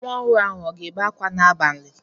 Nwa ọhụrụ ahụ ọ ga-ebe akwa n'abalị?